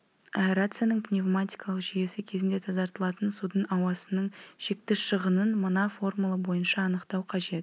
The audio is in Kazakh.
аэрацияның пневматикалық жүйесі кезінде тазартылатын судың ауасының шекті шығынын мына формула бойынша анықтау қажет